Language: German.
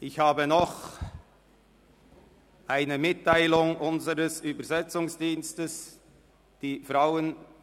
Ich habe noch eine Mitteilung unseres Übersetzungsdienstes zu machen.